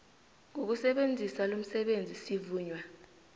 ngokusebenzisa lomsebenzi sivunywa